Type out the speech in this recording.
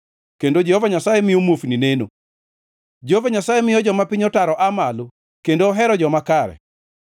kendo Jehova Nyasaye miyo muofni neno. Jehova Nyasaye miyo joma piny otaro aa malo, kendo ohero joma kare.